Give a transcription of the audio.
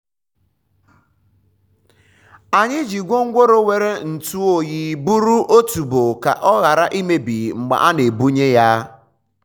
anyị ji gwongworo nwere ntụ oyi buru otuboala ka ọ ghara imebi mgbe a na-ebuga ya.